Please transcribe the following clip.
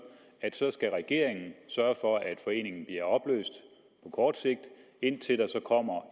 at så skal regeringen sørge for at foreningen bliver opløst på kort sigt indtil der så kommer